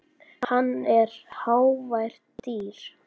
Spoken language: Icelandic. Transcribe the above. Hann er hávært dýr.